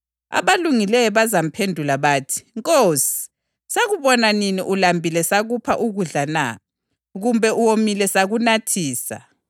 ngangiswele izembatho langigqokisa, ngangigula langonga, ngangisentolongweni lazongibona.’